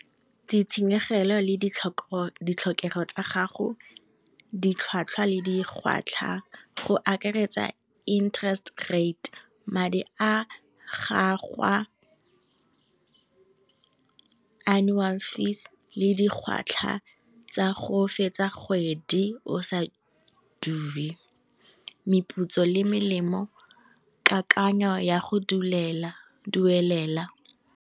Ditshenyegelo le di tlhokego tsa gago, di tlhwatlhwa le dikgwatlha, go akaretsa interest rate, madi a gagwe annual fees le di gwatlhwa tsa go fetsa kgwedi o sa duele, meputso le melemo, kakanyo ya go duelela,